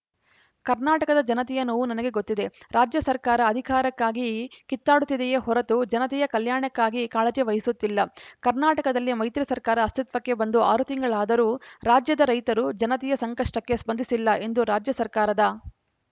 ಕರ್ನಾಟಕ ಜನತೆಯ ನೋವು ನನಗೆ ಗೊತ್ತಿದೆ ರಾಜ್ಯ ಸರ್ಕಾರ ಅಧಿಕಾರಕ್ಕಾಗಿ ಕಿತ್ತಾಡುತ್ತಿದೆಯೇ ಹೊರತು ಜನತೆಯ ಕಲ್ಯಾಣಕ್ಕಾಗಿ ಕಾಳಜಿ ವಹಿಸುತ್ತಿಲ್ಲ ಕರ್ನಾಟಕದಲ್ಲಿ ಮೈತ್ರಿ ಸರ್ಕಾರ ಅಸ್ತಿತ್ವಕ್ಕೆ ಬಂದು ಆರು ತಿಂಗಳಾದರೂ ರಾಜ್ಯದ ರೈತರು ಜನತೆಯ ಸಂಕಷ್ಟಕ್ಕೆ ಸ್ಪಂದಿಸಿಲ್ಲ ಎಂದು ರಾಜ್ಯ ಸರ್ಕಾರದ